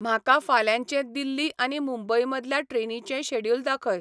म्हाका फाल्यांचे दिल्ली आनी मुंबयमदल्या ट्रेनीेचें शॅड्युल दाखय